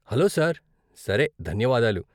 Hello sir! సరే, ధన్యవాదాలు.